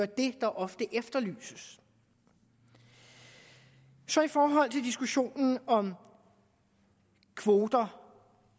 det der ofte efterlyses i forhold til diskussionen om kvoter